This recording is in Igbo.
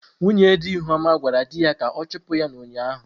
Nwunye di Ihuoma gwara di ha ka ọ chụpụ ya ụnyahụ.